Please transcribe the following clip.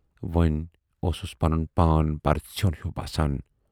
وۅنۍ اوسُس پنُن پان پرٕژھیون ہیوٗ باسان۔